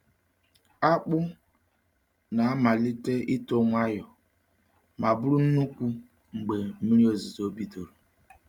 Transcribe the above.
Akpụ um na-amalite ito nwayọ, ma bụrụ nnukwu mgbe mmiri ozuzo bidoro.